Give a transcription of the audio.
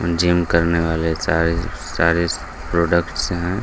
Gym करने वाले सारे सारे प्रोडक्ट्स हैं।